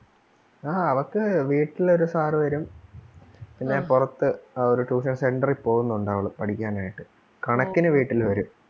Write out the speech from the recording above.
ആ അവക്ക് വീട്ടില് ഒരു sir വരും പിന്നെ പൊറത്ത്‌ ആഹ് ഒരു tuition center ൽ പോന്നൊണ്ട് അവള് പഠിക്കാനായിട്ട് കണക്കിന് വീട്ടിൽ വരും.